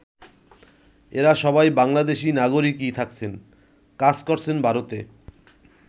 এরা সবাই বাংলাদেশী নাগরিকই থাকছেন, কাজ করছেন ভারতে!